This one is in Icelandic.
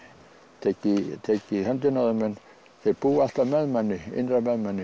tekið í tekið í höndina á þeim en þeir búa alltaf með manni innra með manni